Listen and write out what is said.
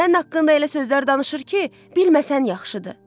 Sənin haqqında elə sözlər danışır ki, bilməsən yaxşıdır.